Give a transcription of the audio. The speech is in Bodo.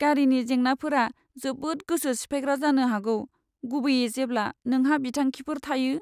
गारिनि जेंनाफोरा जोबोद गोसो सिफायग्रा जानो हागौ, गुबैयै जेब्ला नोंहा बिथांखिफोर थायो।